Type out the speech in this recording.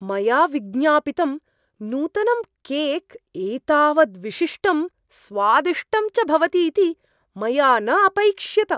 मया विज्ञापितं नूतनं केक् एतावत् विशिष्टं, स्वादिष्टं च भवतीति मया न अपैक्ष्यत!